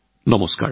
নমস্কাৰ